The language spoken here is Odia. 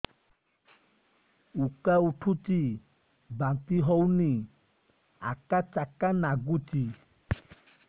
ଉକା ଉଠୁଚି ବାନ୍ତି ହଉନି ଆକାଚାକା ନାଗୁଚି